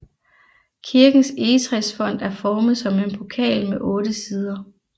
Kirkens egetræsfont er formet som en pokal med otte sider